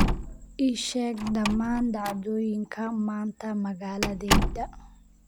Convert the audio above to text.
ii sheeg dhammaan dhacdooyinka maanta magaaladayda